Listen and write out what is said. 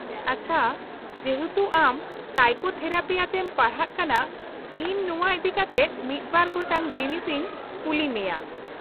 -ᱟᱪᱪᱷᱟ, ᱡᱮᱦᱮᱛᱩ ᱟᱢ ᱥᱟᱭᱠᱳᱛᱷᱮᱨᱟᱯᱤ ᱟᱛᱮᱢ ᱯᱟᱲᱦᱟᱜ ᱠᱟᱱᱟ, ᱤᱧ ᱱᱚᱶᱟ ᱤᱫᱤᱠᱟᱛᱮ ᱢᱤᱫ ᱵᱟᱨ ᱜᱚᱴᱟᱝ ᱡᱤᱱᱤᱥ ᱤᱧ ᱠᱩᱞᱤ ᱢᱮᱭᱟ ᱾